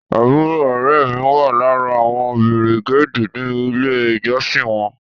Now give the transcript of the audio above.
Àbúrò ọ̀rẹ́ ẹ mi wà lára àwọn bìrìgéèdì ní ilé ìjọsìn wọn